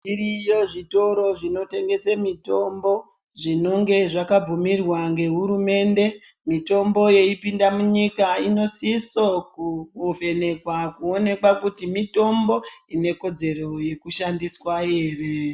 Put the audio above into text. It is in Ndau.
Zviriyo zvitoro zvinotengesa mitombo zvinenge zvakabvumirwa ngehurumende mito.bo yeipinda munyika inosisa kuvhenekwa kuonekwa kuti mitombo ine kodzero yekushandiswa ere.